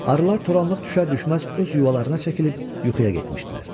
Arılar toranlıq düşər-düşməz öz yuvalarına çəkilib yuxuya getmişdilər.